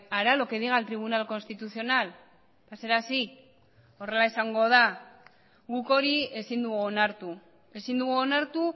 hará lo que diga el tribunal constitucional será así horrela izango da guk hori ezin dugu onartu ezin dugu onartu